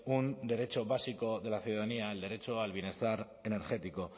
un derecho básico de la ciudadanía el derecho al bienestar energético